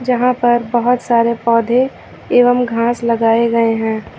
यहां पर बहुत सारे पौधे एवं घास लगाए गए हैं।